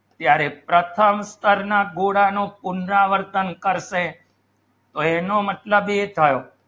ત્યારે પ્રથમ વિસ્તારના ગોળાનો પુનરાવર્તન કર શે તો એનો મતલબ એ થયો